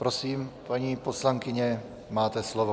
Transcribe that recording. Prosím, paní poslankyně, máte slovo.